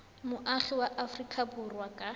moagi wa aforika borwa ka